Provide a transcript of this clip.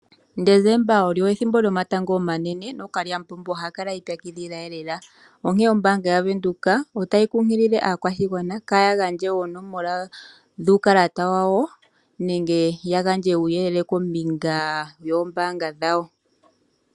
Desemba olyo ethimbo lyomatango omanene nookalyamupombo ohaya kala yi ipyakidhila lela, onkene ombaanga yaVenduka otayi kunkilile aakwashigwana kaya gandje oonomola dhuukalata wawo nenge ya gandje uuyelele kombinga yoombaanga dhawo